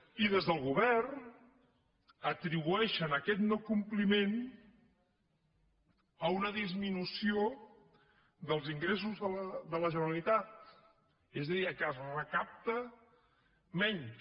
i des del govern atribueixen aquest no compliment a una disminució dels ingressos de la generalitat és a dir que es recapta menys